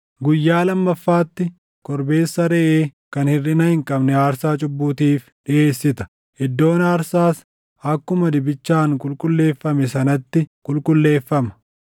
“Guyyaa lammaffaatti korbeessa reʼee kan hirʼina hin qabne aarsaa cubbuutiif dhiʼeessita; iddoon aarsaas akkuma dibichaan qulqulleeffame sanatti qulqulleeffama.